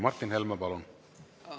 Martin Helme, palun!